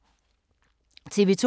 TV 2